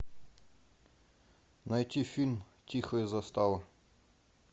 найти фильм тихая застава